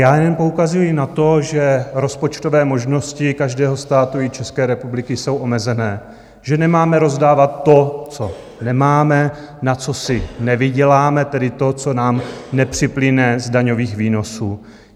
Já jen poukazuji na to, že rozpočtové možnosti každého státu, i České republiky, jsou omezené, že nemáme rozdávat to, co nemáme, na co si nevyděláme, tedy to, co nám nepřiplyne z daňových výnosů.